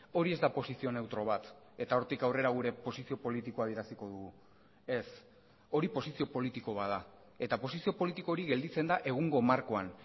hori ez da posizio neutro bat eta hortik aurrera gure posizio politikoa adieraziko dugu ez hori posizio politiko bat da eta posizio politiko hori gelditzen da egungo markoan